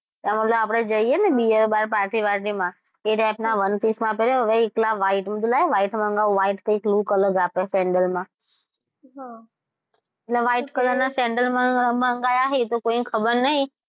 આ ઓલા આપડે જઈએ ને bear bar party party માં એ type ના one -piece પહેર્યા હોય white મેં કીધું કે લાય white મંગાવું white કૈક look અલગ આપે sandel માં એટલે white color ના sandel મંગાયા છે એ તો કોઈને ખબર નથી.